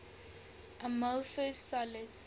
amorphous solids